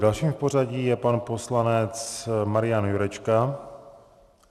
Dalším v pořadí je pan poslanec Marian Jurečka.